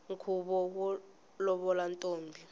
nkhuvo wo lovola ntombi